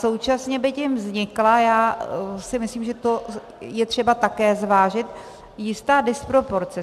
Současně by tím vznikla, já si myslím, že to je třeba také zvážit, jistá disproporce.